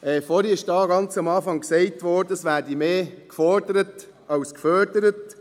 Vorhin, ganz zu Beginn, wurde gesagt, es werde mehr gefordert als gefördert.